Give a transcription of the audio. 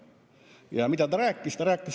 Ja mida ta rääkis?